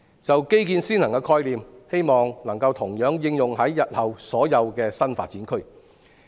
就"基建先行"的概念，希望能同樣應用於日後所有新發展區。